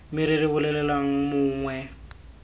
me re re bolelelang mongwe